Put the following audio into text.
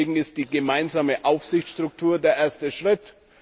Deswegen ist die gemeinsame Aufsichtsstruktur der erste Schritt.